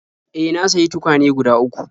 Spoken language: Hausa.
E, na sayi tukwane guda uku..